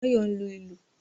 Báyọ̀ ń lu ìlù